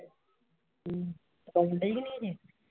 ਹਮ ਪਕਾਉਣਡੇ ਨਹੀ ਜੇ।